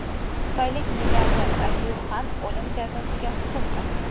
Xitoylik milliarder Lyu Xan o‘lim jazosiga hukm qilindi.